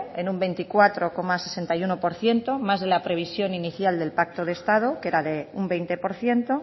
en un veinticuatro coma sesenta y uno por ciento más de la previsión inicial del pacto de estado que era de un veinte por ciento